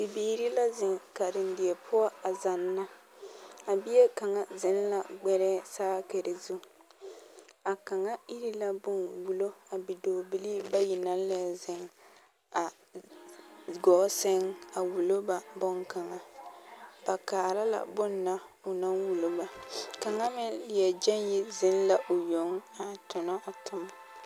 Bibiiri la zeŋ karendie poɔ a zanna a bie kaŋa zeŋ la gbɛrɛɛ saakiri zu a kaŋa iri la bom a wulo bidɔɔbilii bayi naŋ leɛ zeŋ a gɔɔ seŋ a wulo ba bonkaŋa ba kaara la bonna o naŋ wulo ba kaŋa meŋ leɛ gyeŋ yi zeŋ la o yoŋ a tonɔ o tomo.